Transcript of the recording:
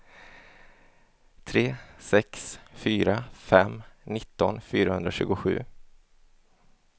tre sex fyra fem nitton fyrahundratjugosju